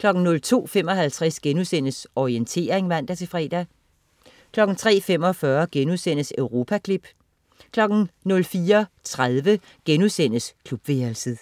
02.55 Orientering* (man-fre) 03.45 Europaklip* 04.30 Klubværelset*